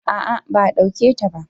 a'a ba a dauke ta ba